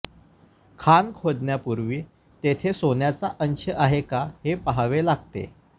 खाण खोदण्यापूर्वी तेथे सोन्याचा अंश आहे का हे पाहावे लागते